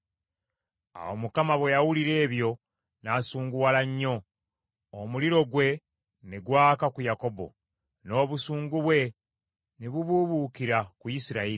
Awo Mukama bwe yawulira ebyo n’asunguwala nnyo; omuliro gwe ne gwaka ku Yakobo, n’obusungu bwe ne bubuubuukira ku Isirayiri.